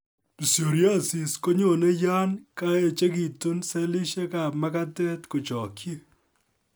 Psoriasis konyone yan kaechekitun sellishek ab magatet kochokyi